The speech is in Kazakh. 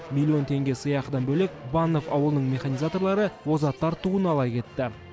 миллион теңге сыйақыдан бөлек баннов ауылының механизаторлары озаттар туын ала кетті